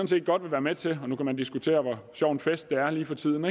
set godt vil være med til nu kan man diskutere hvor sjov en fest det er lige for tiden